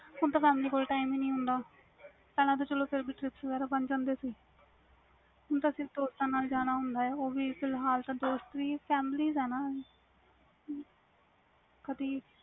ਹੁਣ ਤਾ family ਕੋਲ time ਹੀ ਨਹੀਂ ਹੁੰਦਾ ਪਹਿਲਾ ਤਾ ਚਲੋ trip ਬਣ ਜਾਂਦੇ ਸੀ ਹੁਣ ਤਾ ਸਿਰਫ ਦੋਸਤਾਂ ਨਾਲ ਜਾਣਾ ਹੁੰਦਾ ਉਹ ਵੀ ਦੋਸਤ ਵੀ ਫਿਲਹਾਲ family